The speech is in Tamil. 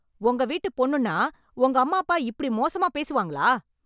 உங்க வீட்டு பொண்ணுன்னா உங்க அம்மாப்பா இப்படி மோசமா பேசுவாங்களா?